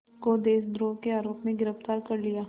को देशद्रोह के आरोप में गिरफ़्तार कर लिया